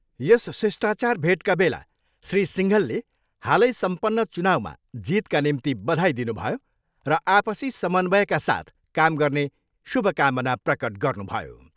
यस शिष्टाचार भेटका बेला श्री सिङ्घलले हालै सम्पन्न चुनाउमा जितका निम्ति बधाई दिनुभयो र आपसी समन्वयका साथ काम गर्ने शुभकामना प्रकट गर्नुभयो।